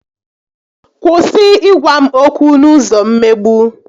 Kwụsị ị gwa m okwu n'ụzọ mmegbu!